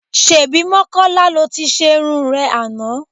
Ṣebí Mọ́kọ́lá lo ti ṣerun rẹ àná?